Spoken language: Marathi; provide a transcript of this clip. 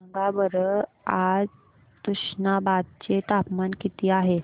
सांगा बरं आज तुष्णाबाद चे तापमान किती आहे